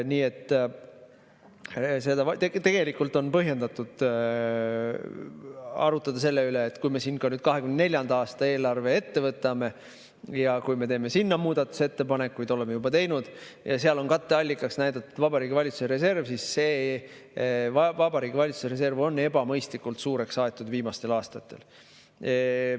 Nii et tegelikult on põhjendatud arutada selle üle – kui me siin ka 2024. aasta eelarve ette võtame ja teeme sinna muudatusettepanekuid, oleme juba teinud, ja seal on katteallikaks näidatud Vabariigi Valitsuse reserv –, et see Vabariigi Valitsuse reserv on ebamõistlikult suureks aetud viimastel aastatel.